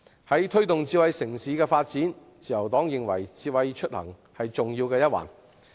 關於推動智慧城市發展的工作，自由黨認為智慧出行是重要一環。